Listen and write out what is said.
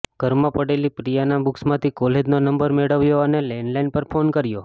ઘરમાં પડેલી પ્રિયાની બુક્સમાંથી કોલેજનો નંબર મેળવ્યો અને લેન્ડલાઈન પર ફોન કર્યો